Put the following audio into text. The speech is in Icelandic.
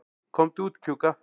Komdu út, Kjúka.